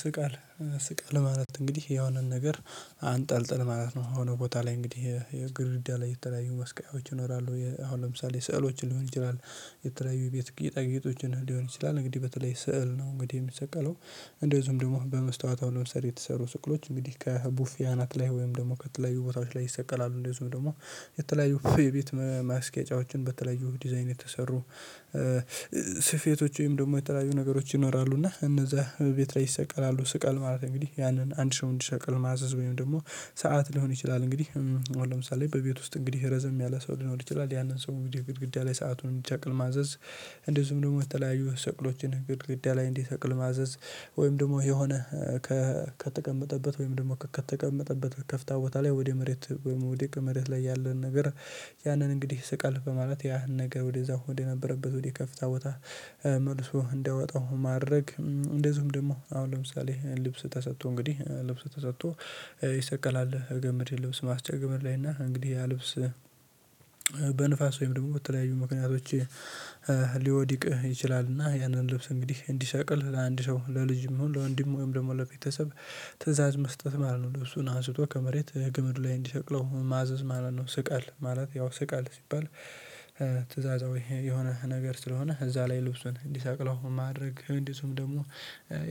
ስቃል ስቃል ማለት እንግዲህ የሆነን ነገር አንጠልጥል ማለት ነው። የሆነ ቦታ ላይ እንግዲህ የግድርዳ ላይ የተለያዩ መስቀያዎች ይኖራሉ አሁን ለምሳሌ ስዕሎችን ሊሆን ይችላል። የተለያዩ የቤት ጌጣጌጦችን ሊሆን ይችላል እንግዲህ በተለይ ስዕል ነው እንግዲህ የሚሰቀለው እንደዚሁም ደግሞ በመስታወት አሁን ልምሳሌ የተሰሩ ስዕሎች እንግዲህ ከቡፌ አናት ላይ ወይም ደግሞ ከተለያዩ ቦታዎች ላይ ይሰቀላሉ። እንደዚሁም ደግሞ የተለያዩ ቤት ማስጌጫዎችን በተለያዩ ዲዛይን የተሰሩ። ወይም ደግሞ የተለያዩ ነገሮች ይኖራሉ። እና እነዛ ቤት ላይ ይሰቀላሉ ስቀል ማለት እንግዲህ ያንን አንድ ሰው እንዲሰቅል ማዘዝ ወይም ደግሞ ሰዓት ሊሆን ይችላል። እንግዲህ አሁን ለምሳሌ በቤት ውስጥ እንግዲህ ረዘም ያለ ሰው ሊኖር ይችላል ያንን ሰው እንግዲህ ግድግዳ ላይ ሰአቱን እንዲሰቅል ማዘዝ። እንደዚሁም ደግሞ የተለያዩ ስቅሎችን ግድግዳ ላይ እንዲሰቅል ማዘዝ። ወይም ደግሞ የሆነ ከተቀመጠበት ወይም ደግሞ ከተቀመጠበት ከፍታ ቦታ ላይ ወደ መሬት ወይም ወደቀ መሬት ላይ ያለን ነገር። ያንን እንግዲህ ስቀል በማለት ያ ነገር ወደዛ ወደነበረበት ወደከፈታ ቦታ መልሶ እንዲያወጣው ማድረግ። እንደዚሁም ደግሞ አሁን ለምሳሌ ልብስ ተሰጥቶ እንግዲህ ልብስ ተሰጥቶ ይሰቀላል። ገመድ ልብስ ማስጫ ገመድ ላይ እና እንግዲህ ያ ልብስ በንፋስ ወይም ደግሞ በተለያዩ ምክንያቶች ሊወድቅህ ይችላል። እና ያንን ልብስ እንግዲህ እንዲሰቅል ለአንድ ሰው ለልጅም ለወንድም ወይም ለቤተሰብ ትእዛዝ መስጠት ማለት ነው። ልብሱን አንስቶ ከመሬት ገመድ ላይ እንዲሰቅለው ማዘዝ ማለት ነው። ስቀል ማለት ያው ስቃል ሲባል። ትእዛዛዊ የሆነ ነገር ስለሆነ እዛ ላይ ልብሱን እንዲሰቅለው ማድረግ እንደዚሁም ደግሞ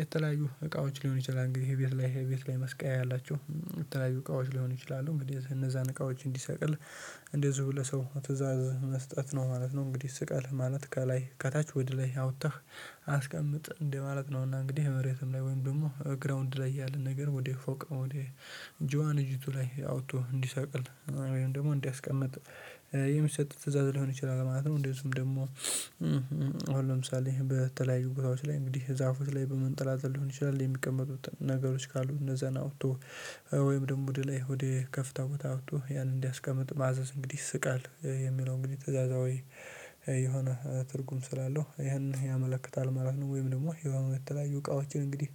የተለያዩ እቃዎች ሊሆን ይችላል። እንግዲህ ይሄ ቤት ላይ ይሄ ቤት ላይ መስቀያ ያላቸው የተለያዩ እቃዎች ሊሆን ይችላሉ። እንደዚህ እነዛን እቃዎች እንዲሰቅል እንደዚሁ ለሰው ትእዛዝ መስጠት ነው ማለት ነው። እንግዲህ ስቀል ማለት ከላይ ከታች ወደ ላይ አውጥተህ። አስቀምጥ እንደማለት ነውና እንግዲህ መሬትም ላይ ወይም ደግሞ ግራውንድ ላይ ያለ ነገር ወደ ፎቅ ወደ ጆአን እጅቱ ላይ አውጥቶ እንዲሰቅል ወይም ደግሞ እንዲያስቀምጥ የሚሰጥ ትእዛዝ ሊሆን ይችላል ማለት ነው። እንደዚሁም ደግሞ ለምሳሌ በተለያዩ ጉባኤዎች ላይ እንግዲህ ዛፎች ላይ በመንጠላጠል ሊሆን ይችላል የሚቀመጡት ነገሮች ካሉ እነዛን አውጥቶ ወይም ደግሞ ወደ ላይ ወዴ ከፍታ ቦታ አውጥቶ ያንን እንዲያስቀምጥ ማዘዝ እንግዲህ ስቀል። የሚለው እንግዲህ ትእዛዛዊ የሆነ ትርጉም ስላለው ይህንን ያመለክታል ማለት ነው። ወይም ደግሞ የሆነ በተለያዩ እቃዎችን እንግዲህ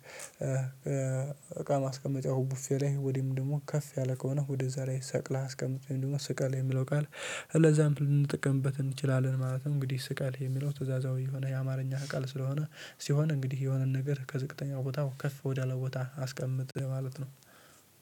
እቃ ማስቀመጫው ቡፌ ላይ ወዲህም ደግሞ ከፍ ያለ ከሆነ ወደዛ ላይ ሰቅለህ አስቀምጥ የሚሉ ሰቀል የሚለው ቃል ለዛም ልንጠቀምበት እንችላለን። ማለትም እንግዲህ ስቀል የሚለው ትእዛዛዊ የሆነ የአማርኛ ቃል ስለሆነ ሲሆን እንግዲህ የሆነን ነገር ከዝቅተኛ ቦታው ከፍ ወዳለ ቦታ አስቀምጥ ማለት ነው።